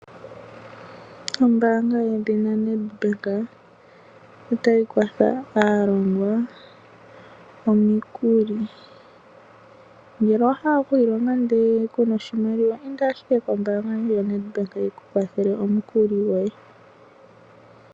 Ombaanga yedhina Nedbank otayi kwathele aalongwa okuyapa omikuli. Ngele owahala okwiilonga ndele kuna oshimaliwa inda kombaanga yoNetbank yikukwathele omukuli goye.